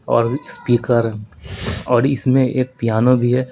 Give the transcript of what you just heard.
और स्पीकर और इसमें एक पियानो भी है।